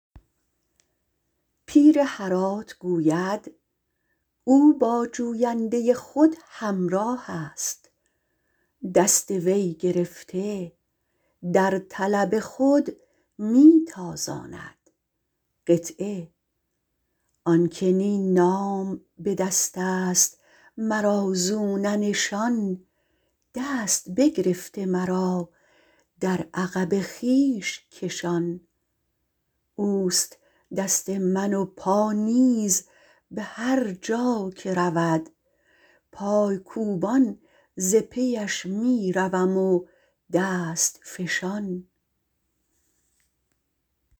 پیر هرات گوید او با جوینده خود همراه است دست او گرفته در طلب خود می تازاند آن که نی نام به دست است مرا زو نه نشان دست بگرفته مرا در عقب خویش کشان اوست دست من و پا نیز به هر جا که رود پایکوبان ز پیش می روم و دست فشان